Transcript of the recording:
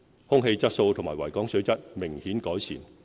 空氣質素和維港水質明顯改善。